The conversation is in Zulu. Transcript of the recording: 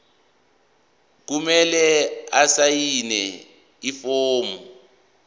kumele asayine ifomu